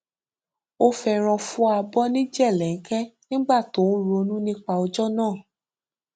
ó fẹràn fọ abọ ní jèlẹńkẹ nígbà tí ó ń ronú nípa ọjọ náà